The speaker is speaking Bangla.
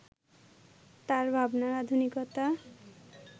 তাঁর ভাবনার আধুনিকতা